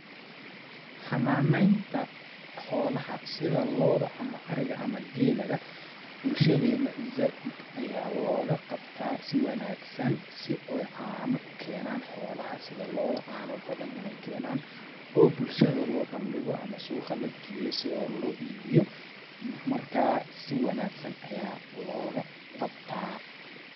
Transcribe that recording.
Xanaaneynta xoolaha sida looda ama ariga ama geela bulshadena zaaid ayaa looga qabtaa si wanaagsan si ooy caano u kenaan sida looda caano badan ineey kenaan bulshada loo bandhigo ama suuqa la geeyo si oo loo iibiyo ,markaa si wanaagsan ayaa looga qabtaa .